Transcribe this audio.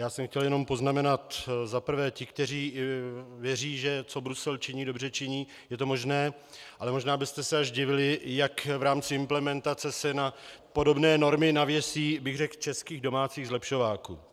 Já jsem chtěl jenom poznamenat - za prvé ti, kteří věří, že co Brusel činí, dobře činí, je to možná, ale možná byste se až divili, jak v rámci implementace se na podobné normy navěsí bych řekl českých domácích zlepšováků.